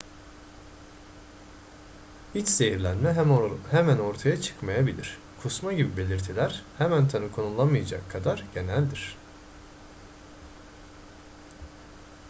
i̇ç zehirlenme hemen ortaya çıkmayabilir. kusma gibi belirtiler hemen tanı konulamayacak kadar geneldir